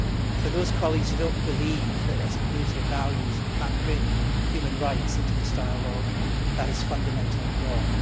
For those colleagues who do not believe that, as a community of values, we cannot bring human rights into this dialogue this is fundamentally wrong.